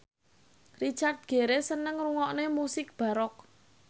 Richard Gere seneng ngrungokne musik baroque